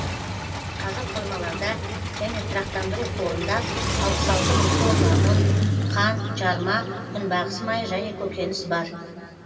қазір қоймаларда және тұрақтандыру қорында алпыс алты мың тонна ұн қант жарма күнбағыс майы және көкөніс бар